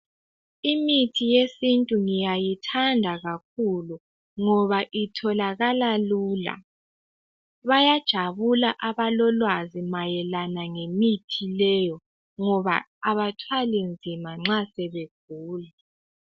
Imithi yesintu ngiyayithanda kakhulu ngoba itholakala lula ,bayajabula abolwazi ngemithi leyo ngoba abathwali nzima nxa sebegula.